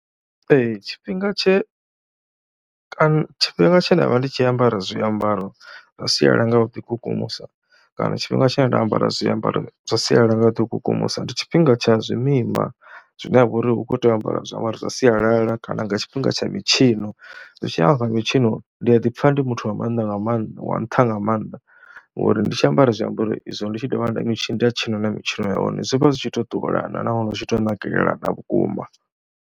Ee tshifhinga tshe kana tshifhinga tshe nda vha ndi tshi ambara zwiambaro zwa sialala nga u ḓikukumusa kana tshifhinga tshine nda ambara zwiambaro zwa sialala nga u ḓikukumusa ndi tshifhinga tsha zwimima zwine ha vha uri hu khou tea u ambariwa zwiambaro zwa sialala kana nga tshifhinga tsha mitshino zwi tshi ya kha mitshino ndi a ḓi pfha ndi muthu wa maanḓa nga maanda, wa nṱha nga maanḓa ngori ndi tshi ambara zwiambaro izwo, ndi tshi dovha nda tshina na mitshino ya hone zwi vha zwi tshi tou ṱuwelana nahone zwi tshi tou nakelelana vhukuma.